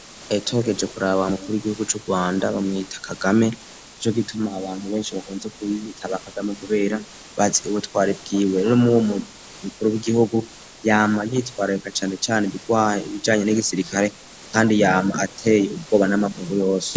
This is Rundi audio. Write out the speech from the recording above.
Tugerageje kuraba umukuru w'igihugu c'urwanda bamwita kagame nico gituma abantu benshi bakunze kubita ba kagame kubera bazi ubutwari bwiwe no muwo mukuru w'igihugu yama yitwarika cane cane ibijanye n'igisirikare kandi yama ateye ubwoba n'amakungu yose.